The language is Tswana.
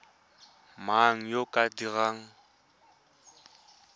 mang yo o ka dirang